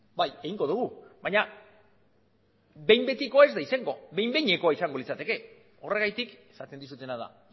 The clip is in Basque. bai egingo dugu baina behin betikoa ez da izango behin behinekoa izango litzateke horregatik esaten dizutena da